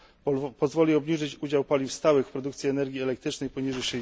r. Pozwoli obniżyć udział paliw stałych w produkcji energii elektrycznej poniżej